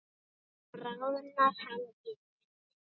Bráðnar hann í munni?